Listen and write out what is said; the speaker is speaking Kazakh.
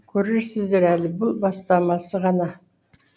көресіздер әлі бұл бастамасы ғана